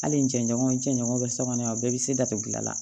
Hali n cɛɲɔgɔn cɛɲɔgɔn bɛ sokɔnɔ yan o bɛɛ bɛ se datugudi gilan